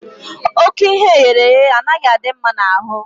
Ókè ihe eghere eghe anaghị adị mma n'ahụ